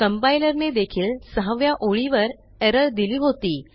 compiler ने देखील सहाव्या ओळीवर एरर दिली होती